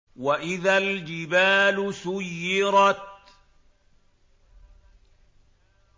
وَإِذَا الْجِبَالُ سُيِّرَتْ